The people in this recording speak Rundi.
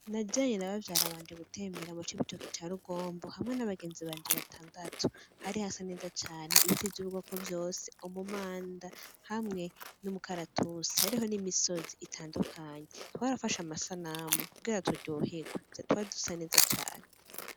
Najanye na bavyara banje gutembera mucibitoke ca rugombo hamwe n' abagenzi banje batandatu hari hasa neza cane ibiti vy' ubwoko bwose umumanda hamwe n' umakaratusi hariho n' imusozi itandukanye twarafashe amasanamu kugira turyohegwe twari dusa neza cane.